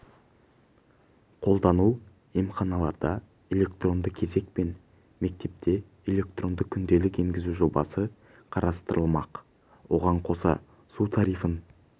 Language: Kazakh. қолдану емханаларда электронды кезек пен мектепте электронды күнделік енгізу жобасы қарастырылмақ оған қоса су тарифін